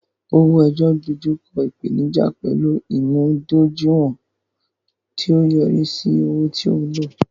owo-eyo dojú kọ ìpèníjà pẹ̀lú ìmúdójúìwọ̀n, tí ó yọrí sí owó tó wúlò.